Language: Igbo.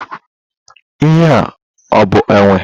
Ihe ọ bụ enwe?